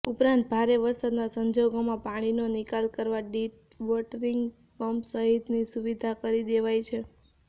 ઉપરાંત ભારે વરસાદના સંજોગોમાં પાણીનો નિકાલ કરવા ડિવોટરિંગ પંપ સહિતની સુવિધા કરી દેવાઇ છે